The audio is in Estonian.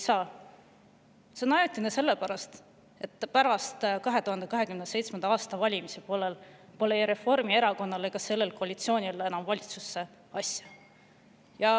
Need on ajutised sellepärast, et pärast 2027. aasta valimisi pole Reformierakonnal ega sellel koalitsioonil enam valitsusse asja.